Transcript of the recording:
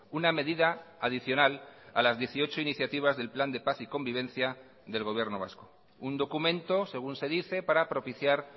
una medida adicional a las dieciocho iniciativas del plan de paz y convivencia del gobierno vasco un documento según se dice para propiciar